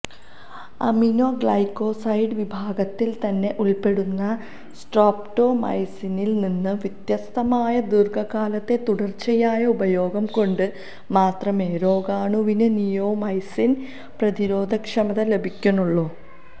aminoglycoside വിഭാഗത്തിൽത്തന്നെ ഉൾപ്പെടുന്ന സ്ട്രോപ്റ്റോമൈസിനിൽ നിന്ന് വ്യത്യസ്തമായി ദീർഘകാലത്തെ തുടർച്ചയായ ഉപയോഗം കൊണ്ടു മാത്രമേ രോഗാണുവിന് നിയോമൈസിൻ പ്രതിരോധക്ഷമത ലഭിക്കുന്നുള്ളൂ